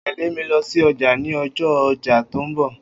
O óò tè̩lé mi lo̩ sí o̩jà ní o̩jó̩ o̩jà tó ń bò̩